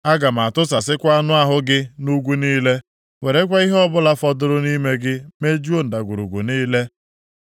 Aga m tụsasịkwa anụ ahụ gị nʼugwu niile, werekwa ihe ọbụla fọdụrụ nʼime gị mejuo ndagwurugwu niile.